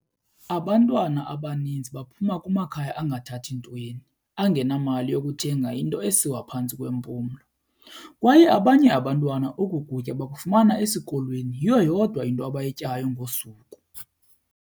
Abantwana abaninzi baphuma kumakhaya angathathi ntweni, angenamali yokuthenga into esiwa phantsi kwempumlo, kwaye abanye abantwana oku kutya bakufumana esikolweni, yiyo yodwa abayityayo ngosuku.